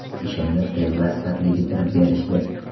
Ishimni tez va sifatli bitirib berishdi!